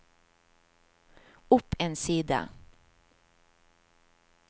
opp en side